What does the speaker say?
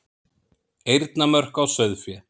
Eyrnamörk á sauðfé.